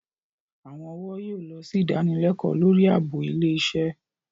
Àwọn ọ̀wọ́ yóò lọ sí ìdanilẹ́kọ̀ọ́ lórí ààbò ilé iṣẹ́